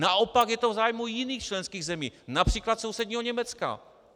Naopak je to v zájmu jiných členských zemí, například sousedního Německa.